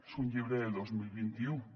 és un llibre del dos mil vint u